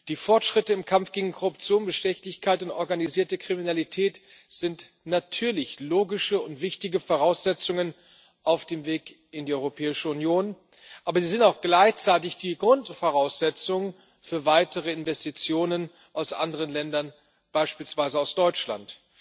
Die Fortschritte im Kampf gegen Korruption, Bestechlichkeit und organisierte Kriminalität sind natürlich logische und wichtige Voraussetzungen auf dem Weg in die Europäische Union, aber sie sind auch gleichzeitig die Grundvoraussetzung für weitere Investitionen aus anderen Ländern, beispielsweise aus Deutschland.